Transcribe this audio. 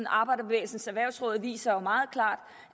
arbejderbevægelsens erhvervsråd viser meget klart